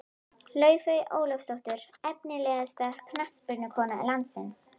Laufey Ólafsdóttir Efnilegasta knattspyrnukona landsins?